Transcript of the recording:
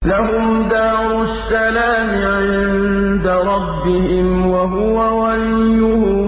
۞ لَهُمْ دَارُ السَّلَامِ عِندَ رَبِّهِمْ ۖ وَهُوَ وَلِيُّهُم